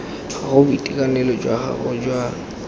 gago boitekanelo jwa gago jwa